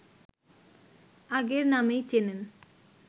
আগের নামেই চেনেন